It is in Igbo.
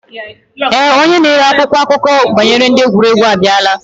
Ee, Onye na ere akwụkwọ akụkọ banyere ndi egwuregwu abiara.